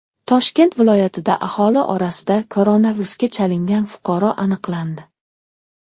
Toshkent viloyatida aholi orasida koronavirusga chalingan fuqaro aniqlandi.